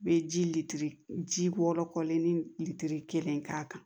Bɛ ji litiri ji wɔɔrɔ kɔlenin litiri kelen k'a kan